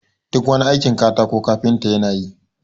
duk wani aikin katako kafinta yana yi